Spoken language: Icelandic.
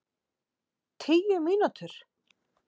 Tíu mínútur?